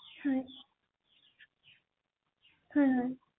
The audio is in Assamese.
আচলতে গোটেই ইনক্ৰেটেৰী এই কথাটো জনাই থৈ আহিব ৷